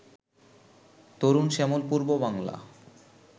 তরুণ শ্যামল পূর্ব বাংলা